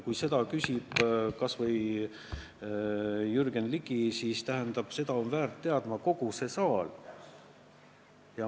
Kui küsib kas või Jürgen Ligi, siis on kogu see saal väärt vastust teadma.